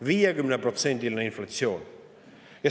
50%-line inflatsioon!